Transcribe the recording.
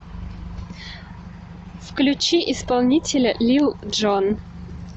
включи исполнителя лил джон